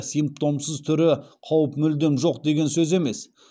симптомсыз түрі қауіп мүлдем жоқ деген сөз емес